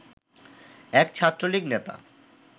এক ছাত্রলীগ নেতা